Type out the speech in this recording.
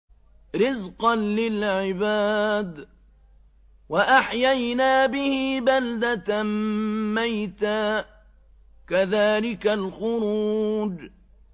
رِّزْقًا لِّلْعِبَادِ ۖ وَأَحْيَيْنَا بِهِ بَلْدَةً مَّيْتًا ۚ كَذَٰلِكَ الْخُرُوجُ